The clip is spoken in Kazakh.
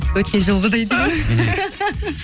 өткен жылғыдай